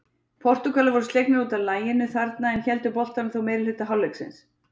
Portúgalar voru slegnir útaf laginu þarna en héldu boltanum þó meirihluta hálfleiksins.